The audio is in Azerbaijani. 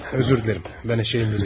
Üzr istəyirəm, mən eşşəyəm?